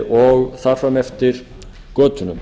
og þar fram eftir götunum